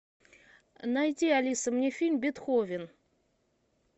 найди алиса мне фильм бетховен